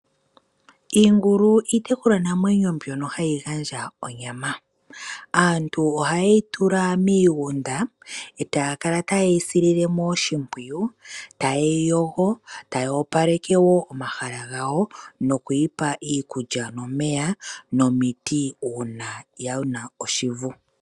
Iingulu iitekulwa namwenyo mbyono hayi gandja onyama. Aantu ohayeyi tula miigunda etaya kala tayeyi sile oshipwiyu tayeyi yogo, taya opaleke wo omahala gawo nokuyipa iikulya nomeya nomiti uuna yina oshivu.